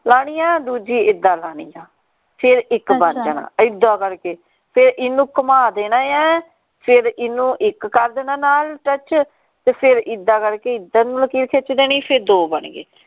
ਲਾਣੀ ਆ ਦੂਜੀ ਇੱਦਾ ਲਾਣੀ ਆ ਫੇਰ ਇਕ ਬਣ ਜਾਣਾ ਇੱਦਾ ਕਰਕੇ ਤੇ ਇਹਨੂੰ ਘੁਮਾ ਦੇਣਾ ਏ ਫੇਰ ਇਹਨੂੰ ਇੱਕ ਕਰ ਦੇਣੇ ਨਾਲ touch ਫੇਰ ਇੱਦਾ ਕਰਕੇ ਇਧਰ ਨੂੰ ਲਕੀਰ ਖਿੱਚ ਦੇਣੀ ਫੇਰ ਦੋ ਬਣ ਗਏ